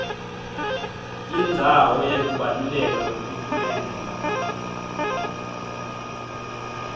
indzawo yekubaluleka kwemiphumela